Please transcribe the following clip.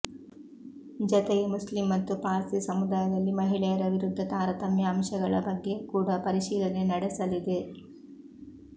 ಜತೆಗೆ ಮುಸ್ಲಿಂ ಮತ್ತು ಪಾರ್ಸಿ ಸಮುದಾಯದಲ್ಲಿ ಮಹಿಳೆಯರ ವಿರುದ್ಧ ತಾರತಮ್ಯ ಅಂಶಗಳ ಬಗ್ಗೆ ಕೂಡ ಪರಿಶೀಲನೆ ನಡೆಸಲಿದೆ